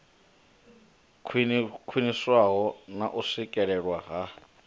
khwiniswaho na u swikelelwa ha